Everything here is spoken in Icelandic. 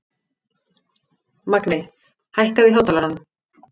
Magni, hækkaðu í hátalaranum.